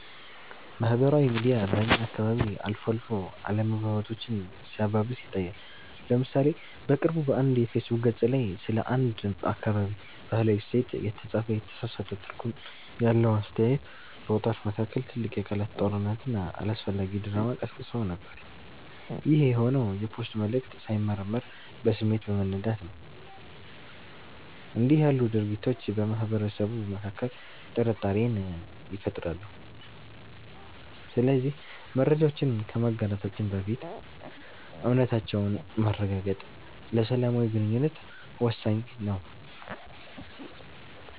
ማህበራዊ ሚዲያ በእኛ አካባቢ አልፎ አልፎ አለመግባባቶችን ሲያባብስ ይታያል። ለምሳሌ በቅርቡ በአንድ የፌስቡክ ገፅ ላይ ስለ አንድ አካባቢ "ባህላዊ እሴት" የተጻፈ የተሳሳተ ትርጉም ያለው አስተያየት፣ በወጣቶች መካከል ትልቅ የቃላት ጦርነትና አላስፈላጊ ድራማ ቀስቅሶ ነበር። ይህ የሆነው የፖስቱ መልዕክት ሳይመረመር በስሜት በመነዳት ነው። እንዲህ ያሉ ድርጊቶች በማህበረሰቡ መካከል ጥርጣሬን ይፈጥራሉ። ስለዚህ መረጃዎችን ከማጋራታችን በፊት እውነታነታቸውን ማረጋገጥ ለሰላማዊ ግንኙነት ወሳኝ ነው።